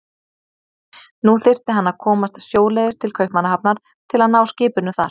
Nú þyrfti hann að komast sjóleiðis til Kaupmannahafnar til að ná skipinu þar.